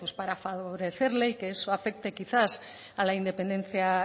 pues para favorecerle y que eso afecte quizás a la independencia